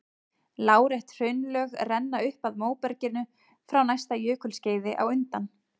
Lárétt hraunlög renna upp að móberginu frá næsta jökulskeiði á undan.